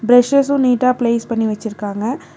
பிரஷ்ஷசூ நீட்டா பிளேஸ் பண்ணி வெச்சுருக்காங்க.